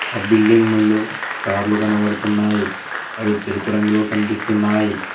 ఆ బిల్డింగ్ ముందు కార్లు కనబడుతున్నాయి అవి తెలుపు రంగులో కనిపిస్తున్నాయి.